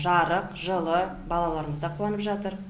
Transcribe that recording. жарық жылы балаларымыз да қуанып жатыр